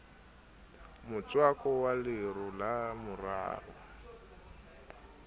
motswako wa lero la morara